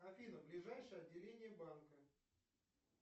афина ближайшее отделение банка